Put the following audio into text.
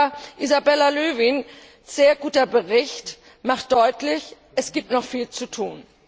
Aber Isabella Lövins sehr guter Bericht macht deutlich Es gibt noch viel zu tun.